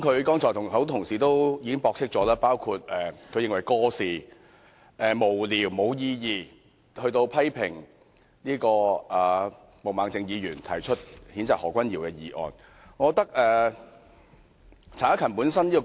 他剛才指責很多同事過時、無聊、無意義，以及批評毛孟靜議員提出譴責何君堯議員的議案。